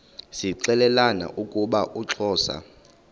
zixelelana ukuba uxhosa